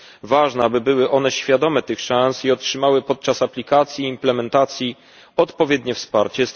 Ważne jest, aby były one świadome tych szans i otrzymały podczas aplikacji i implementacji odpowiednie wsparcie.